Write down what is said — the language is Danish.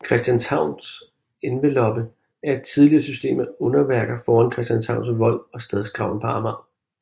Christianshavns Enveloppe er et tidligere system af udenværker foran Christianshavns Vold og Stadsgraven på Amager